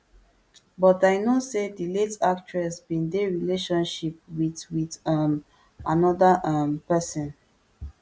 but i know say di late actress bin dey relationship wit wit um anoda um pesin